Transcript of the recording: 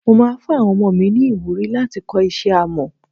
Mo máa fún àwọn ọmọ mi ni ìwúrí láti kọ́ iṣẹ́ Amọ́.